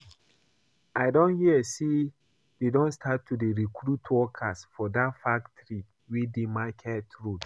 I hear say dey don start to dey recruit workers for dat factory wey dey market road